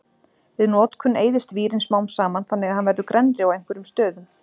Við notkun eyðist vírinn smám saman þannig að hann verður grennri á einhverjum stöðum.